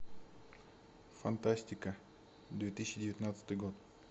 фантастика две тысячи девятнадцатый год